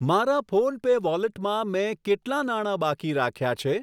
મારા ફોનપે વોલેટમાં મેં કેટલા નાણા બાકી રાખ્યા છે?